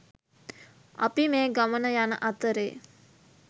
අපි මේ ගමන යන අතරේ